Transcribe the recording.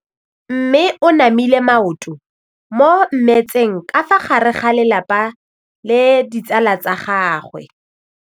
Mme o namile maoto mo mmetseng ka fa gare ga lelapa le ditsala tsa gagwe.